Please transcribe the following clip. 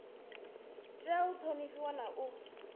tea u ṱhonifhiwa na u